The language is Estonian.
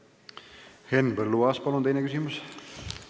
Henn Põlluaas, palun teine küsimus!